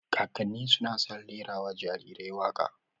Kakanni suna san rera wa jarirai waƙa